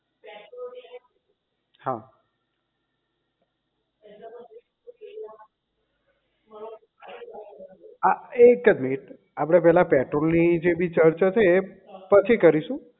હા આ એક જ મિનિટ આપડે પહેલા પેટ્રોલ ની જે બી ચર્ચા થઇ એ પછી કરીશું